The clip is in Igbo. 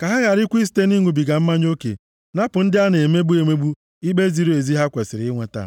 Ka ha gharakwa isite nʼịṅụbiga mmanya oke napụ ndị a na-emegbu emegbu ikpe ziri ezi ha kwesiri inweta.